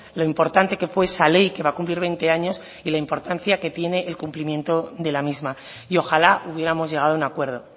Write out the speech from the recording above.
lo importante que fue esa ley que va a cumplir veinte años y la importancia que tiene el cumplimiento de la misma y ojalá hubiéramos llegado a un acuerdo